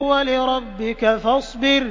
وَلِرَبِّكَ فَاصْبِرْ